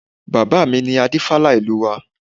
Bàbá mi ni Adífálà ìlú wa